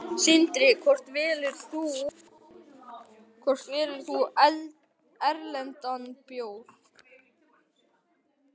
Sindri: Hvort velur þú íslenskan eða erlendan bjór?